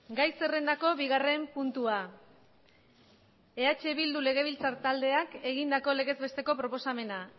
gai zerrendako bigarren puntua eh bildu legebiltzar taldeak egindako legez besteko proposamena